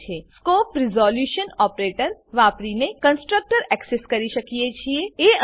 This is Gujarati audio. અહીં આપણે scope resolution operator scope resolution operator વાપરીને કન્સ્ટ્રકટર એક્સેસ કરી શકીએ છીએ